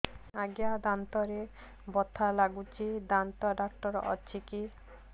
ଆଜ୍ଞା ଦାନ୍ତରେ ବଥା ଲାଗୁଚି ଦାନ୍ତ ଡାକ୍ତର ଅଛି କି